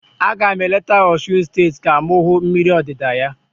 A ga m eleta Osun steeti ka m hụ mmiri odida ya.